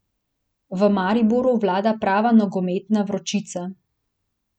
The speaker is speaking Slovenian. V Mariboru vlada prava nogometna vročica.